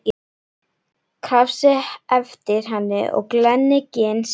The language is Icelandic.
Krafsi eftir henni og glenni gin sitt.